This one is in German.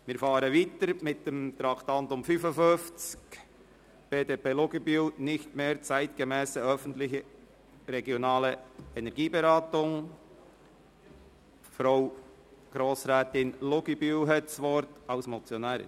Wir fahren fort und kommen zum Traktandum 55, «Nicht mehr zeitgemässe öffentliche regionale Energieberatungen», einem Fraktionsvorstoss BDP/Luginbühl-Bachmann, Krattigen.